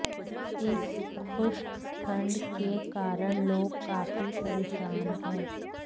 इस खुश्क ठंड के कारण लोग काफी परेशान हैं